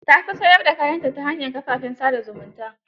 Ta fi siyar da kayanta ta hanyar kafafen sa da zumunta.